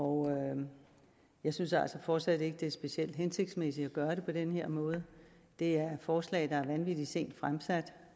og jeg synes altså fortsat ikke det er specielt hensigtsmæssigt at gøre det på den her måde det er forslag der er vanvittig sent fremsat